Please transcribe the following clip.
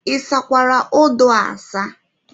Ịsakwara odo a asa?